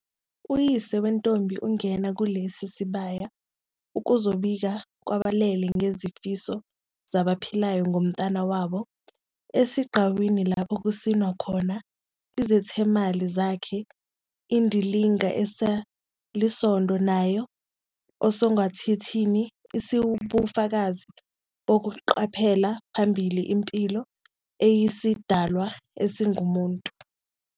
Uyise wentombi ungena kulesi sibaya ukuzobika kwabalele ngezifiso zabaphilayo ngomntwana wabo. Esigcawini lapho kusinwa khona, izethameli zakha indilinga esalisondo nayo osengathithi isiwubufakazi bokuqhubela phambili impilo eyisidalwa esingumuntu.